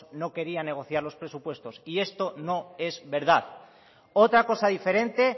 no quería negociar los presupuestos y eso no es verdad otra cosa diferente